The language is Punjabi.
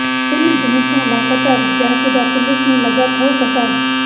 ਤਿੰਨ ਦਿਨ ਤੋਂ ਲਾਪਤਾ ਵਿਦਿਆਰਥੀ ਦਾ ਪੁਲਸ ਨੂੰ ਲੱਗਾ ਥਹੁ ਪਤਾ